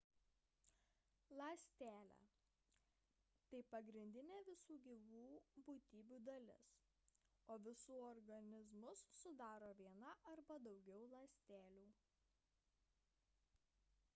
ląstelė – tai pagrindinė visų gyvų būtybių dalis o visus organizmus sudaro viena arba daugiau ląstelių